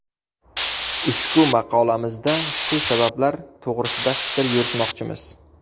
Ushbu maqolamizda shu sabablar to‘g‘risida fikr yuritmoqchimiz.